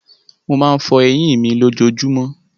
Mo máa ń fọ eyín mi lójojúmọ́.